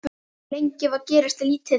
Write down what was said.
Lengi vel gerðist lítið.